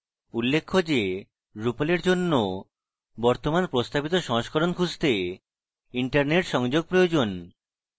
উল্লেখ্য যে drupal এর জন্য বর্তমান প্রস্তাবিত সংস্করণ খুঁজতে internet সংযোগ প্রয়োজন